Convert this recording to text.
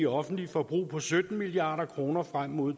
offentlige forbrug på sytten milliard kroner frem mod